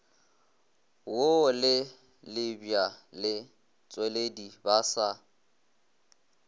wo le lebjaletšweledi ba sa